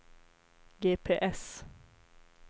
GPS